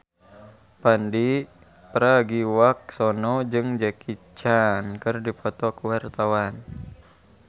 Pandji Pragiwaksono jeung Jackie Chan keur dipoto ku wartawan